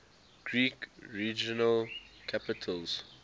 greek regional capitals